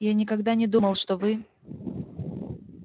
я никогда не думал что вы